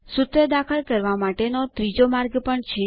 સૂત્ર દાખલ કરવા માટેનો ત્રીજો માર્ગ પણ છે